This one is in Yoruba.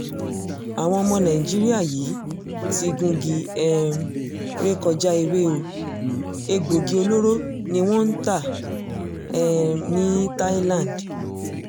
àwọn ọmọ nàìjíríà yìí ti gungi um ré kọjá ewé o egbòogi olóró ni wọ́n ń tà um ní thailand